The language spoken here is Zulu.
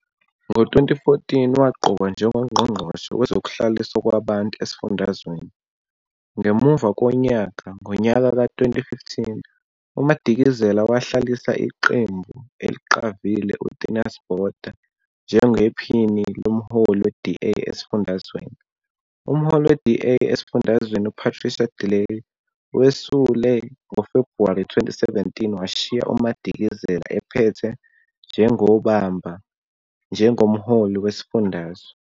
Ngo-2014 waqokwa njengoNgqongqoshe Wezokuhlaliswa Kwabantu esifundazweni. Ngemuva konyaka, ngonyaka ka-2015, uMadikizela wahlalisa iqembu eliqavile uTheuns Botha njengephini lomholi we-DA esifundazweni. Umholi we-DA esifundazweni uPatricia de Lille wesule ngoFebhuwari 2017 washiya uMadikizela ephethe njengobamba njengomholi wesifundazwe.